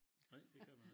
Nej det kan man ik